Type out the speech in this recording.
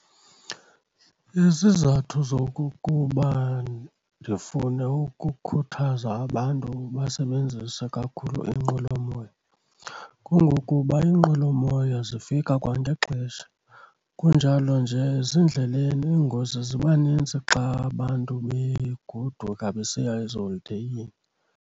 Izizathu zokukuba ndifune ukukhuthaza abantu basebenzise kakhulu iinqwelomoya kungokuba iinqwelomoya zifika kwangexesha kunjalo nje, ezindleleni iingozi ziba nintsi xa abantu begoduka besiya eziholideyini.